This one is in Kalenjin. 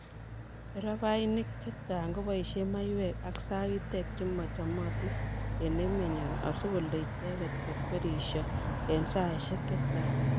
nderefainik chechang kobaishe maywek ako sagitek chemachamatin eng emenyo asikolee icheket kokwerisho eng saishek chechang